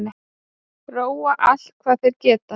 Róa allt hvað þeir geta